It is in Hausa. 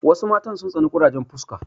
Wasu matan sun tsani ƙurajen fuska.